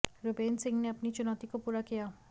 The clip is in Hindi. रुबेन सिंह ने अपनी चुनौती को पूरा किया